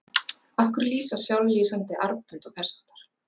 Af hverju lýsa sjálflýsandi armbönd og þess háttar?